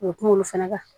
O ye kumalo fana kan